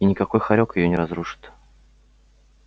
и никакой хорёк её не разрушит